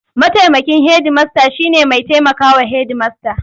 Mataimakin hedimasta shine mai taimaka wa Hedimasta.